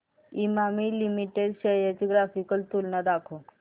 Emami limited shares ची graphical तुलना दाखव